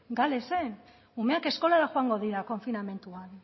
galesen umeak eskolara joango dira konfinamenduan